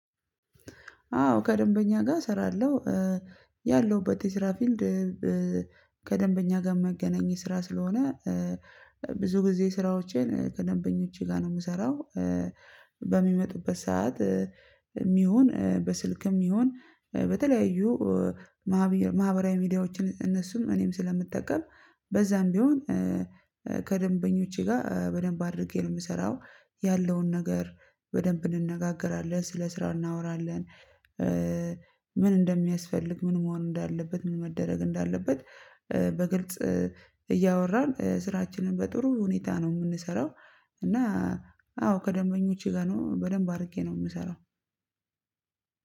አዎ ከደንበኛ ጋር እሰራለሁ። ያለሁበት የስራ ፊልድ ከደንበኛ ጋር ሚያገናኝ ስራ ስለሆነ ብዙ ጊዜ ስራዎቼን ከደንበኞቼ ጋር ነው የምሰራው፣ በሚመጡበት ሰዓት ይሁን በስልክም ይሁን በተለያዩ ማህበራዊ ሚድያዎችን እነሱን እኔም ስለምጠቀም በዛም ቢሆን ከደንበኞቼ ጋር በደንብ አድርጌ ነው የምሰራው ያለውን ነገር በደንብ እንነጋገራለን፤ ስለ ስራ እናወራለን። ምን እንደሚያስፈልግ፣ ምን መሆን እንዳለበት፣ ምን መደረግ እንዳለበት በግልጽ እያወራን ስራችንን በጥሩ ሁኔታ ነው የምንሰራው እና አዎ ከደንበኞቼ ጋር ነው በደንብ አድርጌ ነው የምሰራው